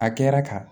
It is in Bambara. A kɛra ka